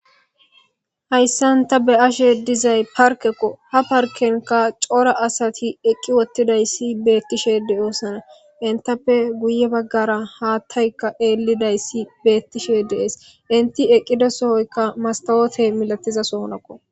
Hayssan ta be'ashe dizay parkekko ha parkenka cora asati eqqi wottidayssi beettishe de oosana intappe guye baggara haattaykka eelidayssi beettishe dees inti eqqida sohoykka mastawote milatiza soonakko.